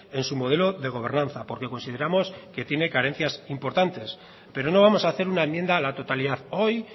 en su modelo de gobernanza porque consideramos que tiene carencias importantes pero no vamos a hacer una enmienda a la totalidad hoy